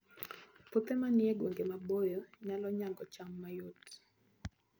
Puothe manie gwenge maboyo nyalo nyago cham mayot